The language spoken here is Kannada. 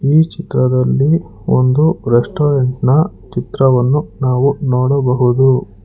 ಈ ಚಿತ್ರದಲ್ಲಿ ಒಂದು ರೆಸ್ಟೊರೆಂಟ್ ನ ಚಿತ್ರವನ್ನು ನಾವು ನೋಡಬಹುದು.